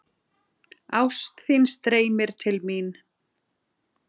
Ást þín streymir til mín.